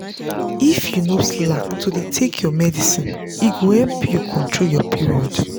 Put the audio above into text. if you no slack to dey take your medicine e go help you control your period.